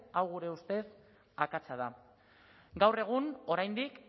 hau gure ustez akatsa da gaur egun oraindik